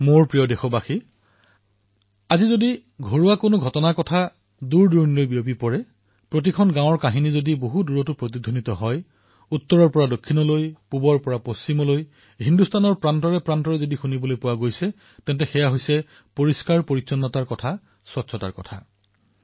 মোৰ মৰমৰ দেশবাসীসকল আজি ঘৰে ঘৰে এটা কাহিনী সকলোতে শুনিবলৈ পোৱা যায় প্ৰতিখন গাঁৱৰ এটা কাহিনী শুনিবলৈ পোৱা যায় উত্তৰৰ পৰা দক্ষিণৰ পৰা পূবৰ পৰা আৰু পশ্চিমৰ পৰা ভাৰতৰ প্ৰতিটো প্ৰান্তৰ পৰা আৰু সেয়া হল স্বচ্ছতাৰ কাহিনী